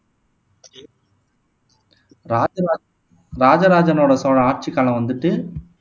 ராஜராஜ ராஜ ராஜனோட சோழன் ஆட்சிக்காலம் வந்துட்டு